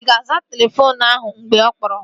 Ị ga-aza telefoonu ahụ mgbe ọ kpọrọ?